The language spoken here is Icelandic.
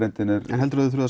heldur þú